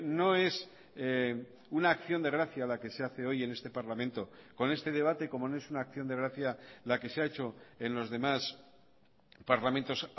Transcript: no es una acción de gracia la que se hace hoy en este parlamento con este debate como no es una acción de gracia la que se ha hecho en los demás parlamentos